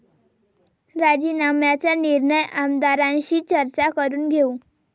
राजीनाम्याचा निर्णय आमदारांशी चर्चा करून घेऊ'